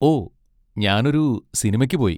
ഓ, ഞാൻ ഒരു സിനിമയ്ക്ക് പോയി.